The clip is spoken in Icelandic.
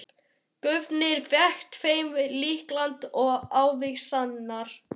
Guðni fékk þeim lyklana og ávísanirnar.